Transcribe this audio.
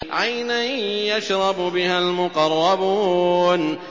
عَيْنًا يَشْرَبُ بِهَا الْمُقَرَّبُونَ